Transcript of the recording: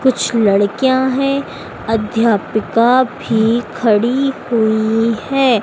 कुछ लड़कियां है अध्यापका भी खड़ी हुई हैं।